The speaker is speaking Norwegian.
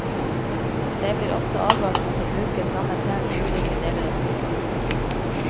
Det blir også advart mot å bruke samme penn i ulike deler av sykehuset.